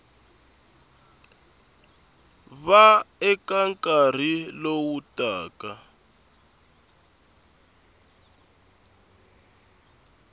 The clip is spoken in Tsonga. va eka nkarhi lowu taka